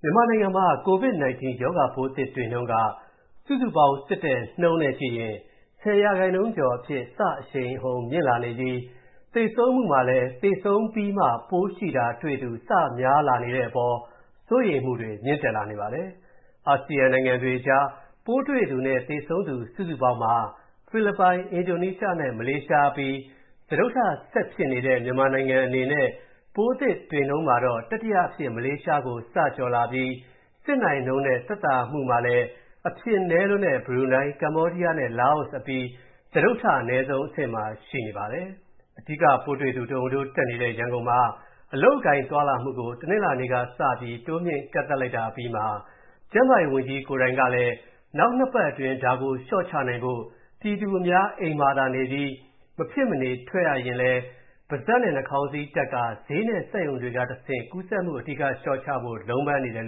မြန်မာနိုင်ငံမှာ COVID-19 ရောဂါပိုးသစ်တွေ့နှုန်းက စုစုပေါင်းစစ်တဲ့နှုန်းနဲ့ကြည့်ရင် ၁၀% ကျော်အဖြစ်စအရှိန်အဟုန်မြင့်လာနေပြီး၊ သေဆုံးမူထဲမှာလည်း သေဆုံးပြီးမှ ပိုးရှိတာတွေ့သူ စများလာနေတဲ့အပေါ် စိုးရိမ်မူတွေမြင့်တက်နေပါတယ်။ အာဆီယံနိုင်ငံတွေကြား ပိုးတွေ့သူနဲ့ သေဆုံးသူ စုစုပေါင်းမှာ ဖိလစ်ပိုင်၊ အင်ဒိုနီးရှားနဲ့ မလေးရှားအပြီး၊ စတုတ္ထဆက်ဖြစ်နေပေမဲ့၊ ပိုးသစ်တွေ့နှုန်းမှာတော့ တတိယအဖြစ် မလေးရှားကိုစကျော်လာ ပြီးစစ်နိုင်နှုန်းနဲ့ပြန်သက်သာသူမှာလည်း အဖြစ်နည်းလွန်းတဲ့ ဘရူနိုင်း၊ ကမ္ဘောဒီးယားနဲ့ လာအို အပြီး စတုတ္ထ အနည်းဆုံးအဆင့်မှာရှိနေပါတယ်။ အဓိကပိုးတွေ့သူတဟုန်ထိုးတက်နေတဲ့ ရန်ကုန်မှာ အလုပ်အကိုင်သွားလာမူကို တနလာၤနေ့က တိုးမြှင့်ကန့်သတ်လိုက်တာအပြီးမှာ၊ ကျန်းမာရေးဝန်ကြီးကလည်း၊ နောက် (၂) ပတ်အတွင်း ဒါကိုလျော့ချနိုင်ဖို့၊ ပြည်သူအများ အိမ်မှာသာနေပြီး၊ မဖြစ်မနေထွက်ရလျှင် ပါးစပ်နဲ့ နှာခေါင်းစည်းတပ်ကာ၊ ဈေးနဲ့စက်ရုံတွေကတဆင့် ကူးစက်မူ အဓိကလျော့ချဖို့ လုံးပမ်းနေတယ်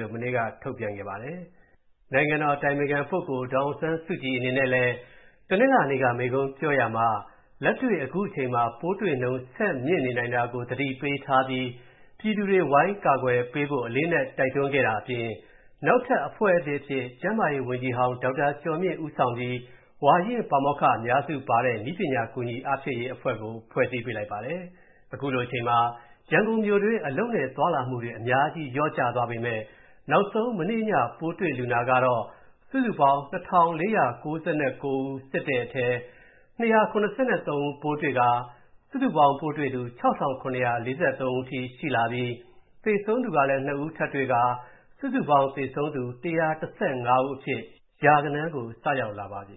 လို့ မနေ့က ထုတ်ပြန်ခဲ့ပါတယ်။ နိုင်ငံတော်အတိုင်ပင်ခံ ဒေါ်အောင်ဆန်းစုကြည်အနေနဲ့လည်း တနင်္လာက မိန့်ခွန်းပြောရာမှာ လက်တွေ့ခုချိန်မှာ ပိုးတွေ့နှုန်းဆက်မြင့်နေနိုင်တာကို သတိပေးထားပြီး၊ ပြည်သူတွေ ဝိုင်းကာကွယ်ပေးဖို့ အလေးအနက်တိုက်တွန်းခဲ့တာအပြင်၊ နောက်ထပ်အဖွဲ့သစ်အဖြစ် ကျန်းမာရေးဝန်ကြီးဟောင်း ဒေါက်တာကျော်မြင့်ဦးဆောင်ပြီး၊ ဝါရင့်ပါမောက္ခအများစုပါတဲ့ နည်းပညာ ကူညီအားဖြည့်ရေးအဖွဲ့ကို ဖွဲ့စည်းပေးလိုက်ပါတယ်။ ခုလိုအချိန်မှာ ရန်ကုန်မြို့တွင်း အလုပ်နဲ့သွားလာမူတွေ အများကြီးလျော့ကျသွားပေမဲ့၊ နောက်ဆုံး မနေ့ညပိုးတွေ့လူနာကတော့၊ စုစုပေါင်း ၂၄၉၉ ဦးစစ်တဲ့အထဲ၊ ၂၇၃ ဦးပိုးတွေ့ကာ၊ စုစုပေါင်းပိုးတွေ့သူ ၆၇၄၃ ဦးအထိရှိလာပြီး၊ သေဆုံးသူလည်း ၂ ဦးထပ်တွေ့ပြီး စုစုပေါင်း သေဆုံးသူ ၁၁၅ ဦးအဖြစ် ရာဂဏန်းကို စရောက်လာပါပြီ